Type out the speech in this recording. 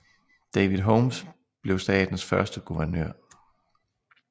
David Holmes blev statens første guvernør